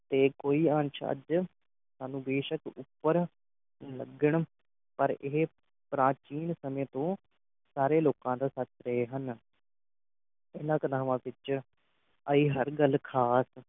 ਤੇ ਕੋਈ ਅੰਸ਼ ਅੱਜ ਸਾਨੂੰ ਬੇਸ਼ਕ ਉਪਰ ਲੱਗਣ ਪਰ ਇਹ ਪ੍ਰਾਚੀਨ ਸਮੇਂ ਤੋਂ ਸਾਰੇ ਲੋਕਾਂ ਦਾ ਸੱਚ ਰਹੇ ਹਨ ਇਹਨਾਂ ਘਨਾਵਾਂ ਵਿਚ ਆਈ ਹਰ ਗੱਲ ਖਾਸ